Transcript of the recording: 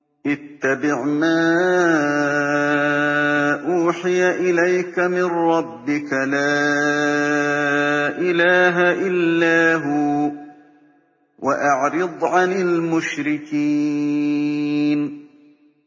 اتَّبِعْ مَا أُوحِيَ إِلَيْكَ مِن رَّبِّكَ ۖ لَا إِلَٰهَ إِلَّا هُوَ ۖ وَأَعْرِضْ عَنِ الْمُشْرِكِينَ